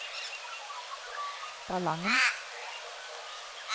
Ballangen